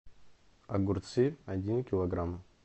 огурцы один килограмм